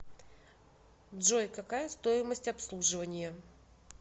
джой какая стоимость обслуживания